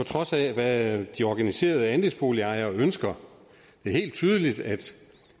trods af hvad de organiserede andelsboligejere ønsker det er helt tydeligt